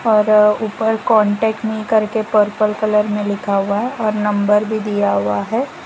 और ऊपर contact me करके पर्पल कलर में लिखा हुआ है और नंबर भी दिया हुआ है।